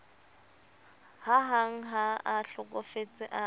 hahang ha a hlokofetse a